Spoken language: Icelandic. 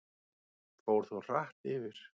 Fór þó hratt yfir.